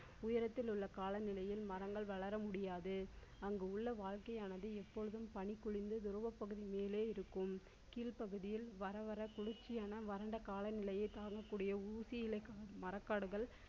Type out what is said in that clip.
உயரத்தில் உள்ள கால நிலையில் மரங்கள் வளர முடியாது அங்கு உள்ள வாழ்க்கையானது எப்பொழுதும் பனி பொழிந்து துறவப்பகுதி மேலே இருக்கும். கீழ் பகுதியில் வர வர குளிர்ச்சியான வறண்ட கால நிலையை தாங்கக்கூடிய ஊசியிலை காடு மரக்காடுகள்